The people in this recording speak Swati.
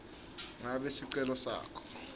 ngabe sicelo sakho